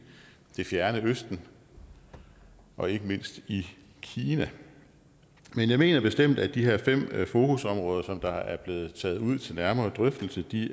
det fjerne østen og ikke mindst i kina men jeg mener bestemt at de her fem fokusområder som der er blevet taget ud til nærmere drøftelse